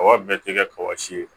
Kɔgɔ bɛɛ tɛ kɛ kɔɔsi ye